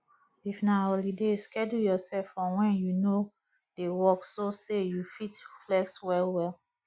if na holiday schedule yourself for when you no dey work so say you fit flex well well